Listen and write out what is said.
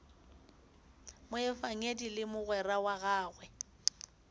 moefangedi le mogwera wa gagwe